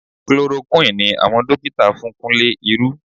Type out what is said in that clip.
Chloroquine ni àwọn dókítà fún Kúnlé irú